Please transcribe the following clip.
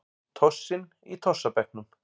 Tossinn í tossabekknum.